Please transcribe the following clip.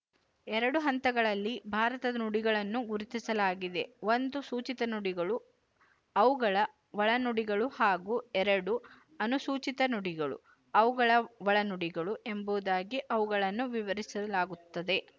ಎರಡು ಹಂತಗಳಲ್ಲಿ ಭಾರತದ ನುಡಿಗಳನ್ನು ಗುರುತಿಸಲಾಗಿದೆ ಒಂದು ಸೂಚಿತ ನುಡಿಗಳು ಅವುಗಳ ಒಳನುಡಿಗಳು ಹಾಗೂ ಎರಡು ಅನುಸೂಚಿತ ನುಡಿಗಳು ಅವುಗಳ ಒಳನುಡಿಗಳು ಎಂಬುದಾಗಿ ಅವುಗಳನ್ನು ವಿವರಿಸಲಾಗುತ್ತದೆ